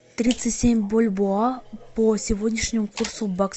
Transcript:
тридцать семь бальбоа по сегодняшнему курсу в баксах